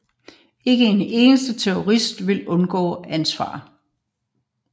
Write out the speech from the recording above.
Ikke en eneste terrorist vil undgå ansvar